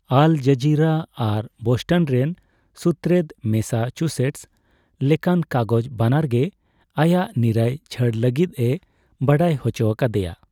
ᱟᱞᱼᱡᱟᱨᱤᱨᱟ ᱟᱨ ᱵᱳᱥᱴᱚᱱ ᱨᱮᱱ ᱥᱩᱛᱨᱮᱫ, ᱢᱮᱥᱟᱪᱩᱥᱮᱹᱴᱚᱥᱼᱞᱮᱠᱟᱱ ᱠᱟᱜᱚᱡᱽ ᱵᱟᱱᱟᱨ ᱜᱮ ᱟᱭᱟᱜ ᱱᱤᱨᱟᱹᱭ ᱪᱷᱟᱹᱲ ᱞᱟᱜᱤᱫ ᱮ ᱵᱟᱰᱟᱭ ᱦᱚᱪᱚ ᱟᱠᱟᱫᱮᱭᱟ ᱾